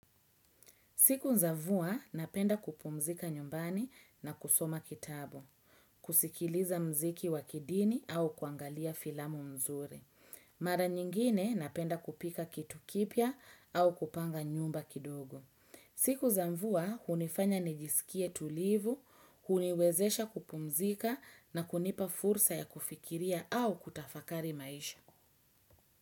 Siku za mvua napenda kupumzika nyumbani na kusoma kitabu, kusikiliza muziki wa kidini au kuangalia filamu mzuri. Mara nyingine napenda kupika kitu kipya au kupanga nyumba kidogo. Siku za mvua hunifanya nijisikie tulivu, huniwezesha kupumzika na kunipa fursa ya kufikiria au kutafakari maisha.